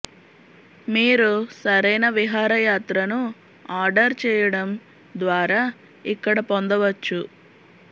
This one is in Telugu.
మీరు సరైన విహారయాత్రను ఆర్డర్ చేయడం ద్వారా ఇక్కడ పొందవచ్చు